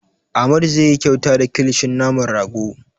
Amadu zai yi kyauta da kilishin naman rago.